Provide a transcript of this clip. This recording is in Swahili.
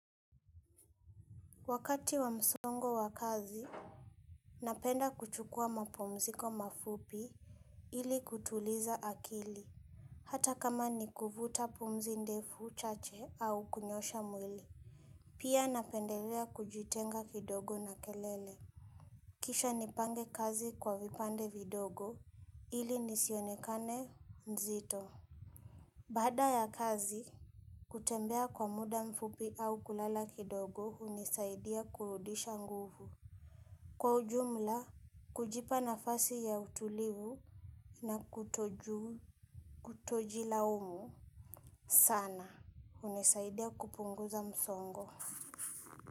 Wakati wa msongo wa kazi, napenda kuchukua mapumziko mafupi ili kutuliza akili. Hata kama ni kuvuta pumzi ndefu chache au kunyoosha mwili. Pia napendelea kujitenga kidogo na kelele. Kisha nipange kazi kwa vipande vidogo ili nisionekane nzito. Baada ya kazi, kutembea kwa muda mfupi au kulala kidogo hunisaidia kurudisha nguvu. Kwa ujumla, kujipa nafasi ya utulivu na kutojilaumu sana. Umesaidia kupunguza msongo.